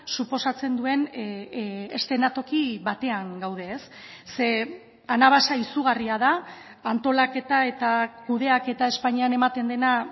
suposatzen duen eszenatoki batean gaude ze anabasa izugarria da antolaketa eta kudeaketa espainian ematen dena